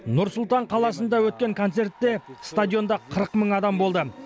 нұр сұлтан қаласында өткен концертте стадионда қырық мың адам болды